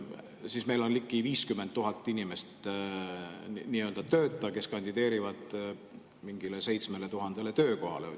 Siis on meil ligi 50 000 nii-öelda tööta inimest, kes kandideerivad mingile 7000 töökohale.